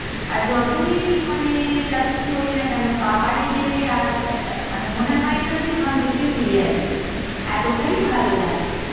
আর যতই মানে যা কিছু করি না কেনো পাহাড়ে গেলে আর মানে মনে হয় না যে ওখান থেকে ফিরে আসি, এতটাই ভালো লাগে।